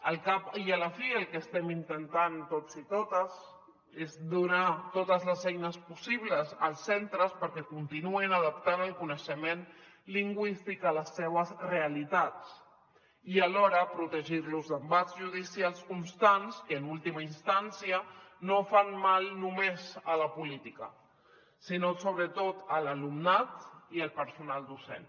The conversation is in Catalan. al cap i a la fi el que estem intentant tots i totes és donar totes les eines possibles als centres perquè continuïn adaptant el coneixement lingüístic a les seves realitats i alhora protegir los d’embats judicials constants que en última instància no fan mal només a la política sinó sobretot a l’alumnat i al personal docent